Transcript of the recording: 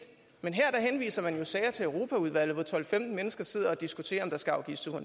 men her henviser man jo sager til europaudvalget hvor tolv til femten mennesker sidder og diskuterer om der skal afgives